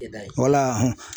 E da ye wala